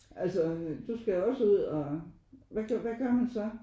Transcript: Altså du skal jo også ud og hvad hvad gør man så?